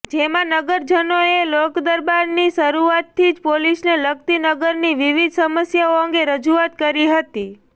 જેમાં નગરજનોએ લોકદરબારની શરૃઆતથી જ પોલીસને લગતી નગરની વિવિધ સમસ્યાઓ અંગે રજૂઆતો કરી હતી